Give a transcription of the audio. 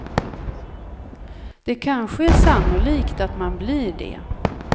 Det kanske är sannolikt att man blir det.